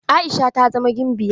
Aisha ta zama gimbiya.